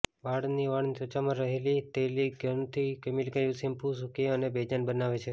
વાળની વાળની ત્વચામાં રહેલી તૈલીયગ્રંથીને કેમિકલયુક્ત શેમ્પુ સુકી અને બેજાન બનાવે છે